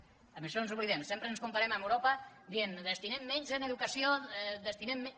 d’això ens n’oblidem sempre ens comparem amb europa dient destinem menys en educació destinem menys